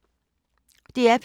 DR P2